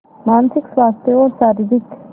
मानसिक स्वास्थ्य और शारीरिक स्